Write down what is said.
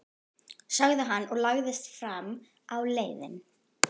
sagði hann og lagðist fram á leiðið.